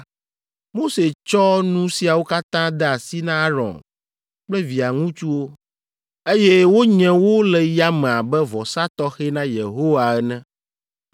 Mose tsɔ nu siawo katã de asi na Aron kple via ŋutsuwo, eye wonye wo le yame abe vɔsa tɔxɛ na Yehowa ene.